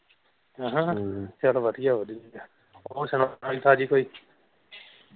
ਆਹਾ ਫਿਰ ਵਧੀਆ ਵਧੀਆ ਹੋਰ ਸੁਣਾ ਨਵੀਂ ਤਾਜੀ ਕੋਈ।